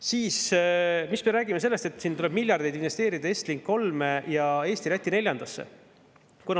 Siis me räägime sellest, et tuleb miljardeid investeerida Estlink 3 ja Eesti-Läti neljandasse.